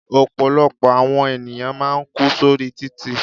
Ọ̀pọ̀lọpọ̀ àwọn ènìyàn máà ń kú sórí títì.